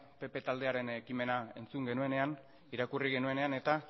pp taldearen ekimena entzun eta irakurri genuenean